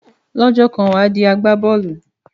Lọ́jọ́ kan wà á di agbá bọ́ọ̀lù.